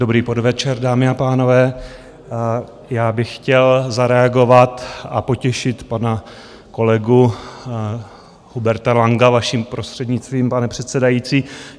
Dobrý podvečer dámy a pánové, já bych chtěl zareagovat a potěšit pana kolegu Huberta Langa, vaším prostřednictvím pane předsedající.